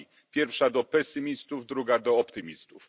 Pierwsza do pesymistów, druga do optymistów.